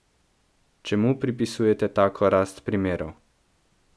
Čemu pripisujete tako rast primerov?